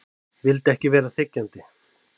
Vildi ekki vera þiggjandi.